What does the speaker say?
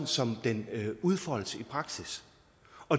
som den udfoldes i praksis